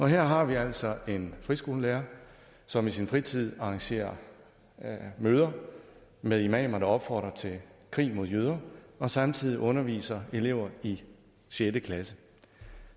her har vi altså en friskolelærer som i sin fritid arrangerer møder med imamer der opfordrer til krig mod jøder og samtidig underviser elever i sjette klasse